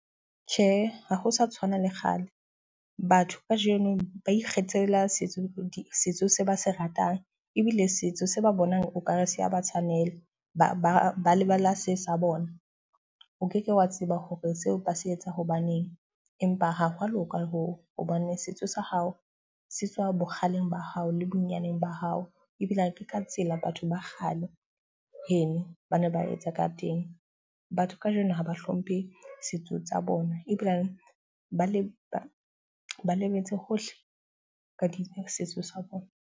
Tjhe, ha ho sa tshwana le kgale. Batho ka jeno ba ikgethela setso se ba se ratang. Ebile setso se ba bonang okare se a ba tshwanela ba lebala se sa bona. O keke wa tseba hore seo ba se etsa hobaneng, empa ha hwa loka hoo hobane setso sa hao se tswa bokgaleng ba hao le bonyaneng ba hao. Ebile ha ke ka tsela batho ba kgale heno ba ne ba etsa ka teng. Batho ka jeno haba hlomphe setso tsa bona ebile ba le ba lebetse hohle ka di setso sa bona.